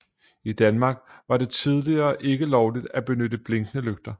I Danmark var det tidligere ikke lovligt at benytte blinkende lygter